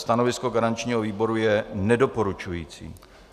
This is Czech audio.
Stanovisko garančního výboru je nedoporučující.